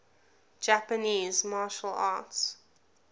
japanese martial arts